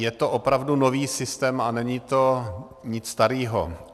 Je to opravdu nový systém a není to nic starého.